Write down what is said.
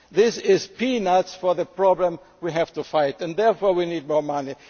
billion for seven years is not enough. This is peanuts for the problem we have to